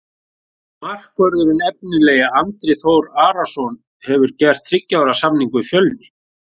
Markvörðurinn efnilegi Andri Þór Arnarson hefur gert þriggja ára samning við Fjölni.